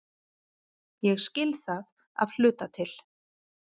Ég skil það af hluta til.